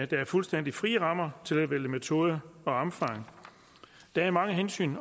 der er fuldstændig frie rammer til at vælge metoder og omfang der er mange hensyn